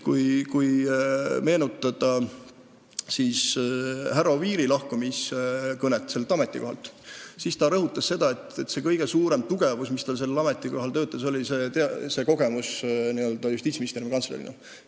Kui meenutada härra Oviiri kõnet, mille ta pidas sellelt ametikohalt lahkudes, siis ta rõhutas, et tema kõige suurem tugevus sellel ametikohal töötades oli kogemus, mille ta oli saanud Justiitsministeeriumi kantslerina.